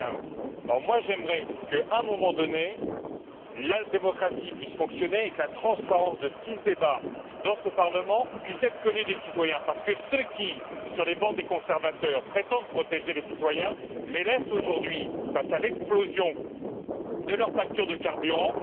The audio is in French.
2015. J'aimerais qu'à un moment donné la démocratie puisse fonctionner et que la transparence de ce qui se débat dans ce Parlement puisse être connue des citoyens, parce que ceux qui, sur les bancs des conservateurs, prétendent protéger les citoyens les laissent aujourd'hui face à l'explosion de leurs factures de carburant.